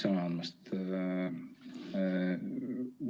Aitäh sõna andmast!